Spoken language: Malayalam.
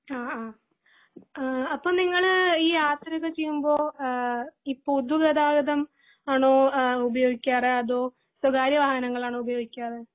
ആഹ് ആഹ്, അപ്പൊ നിങ്ങള് ഈ യാത്രയൊക്കെ ചെയ്യുമ്പോ ആഹ് ഈ പൊതു ഗതാഗതം ആണോ ഉപയോഗിക്കാർ അതോ സ്വകാര്യ വാഹനങ്ങൾ ആണോ ഉപയോഗിക്കാർ